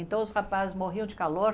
Então os rapazes morriam de calor.